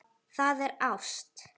Það er ást.